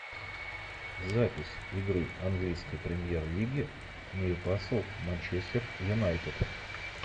запись игры английской премьер лиги нью касл манчестер юнайтед